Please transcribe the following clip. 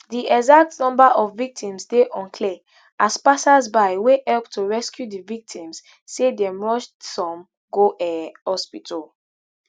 di exact number of victims dey unclear as passersby wey help to rescue di victims say dem rush some go um hospital